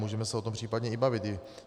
Můžeme se o tom případně i bavit.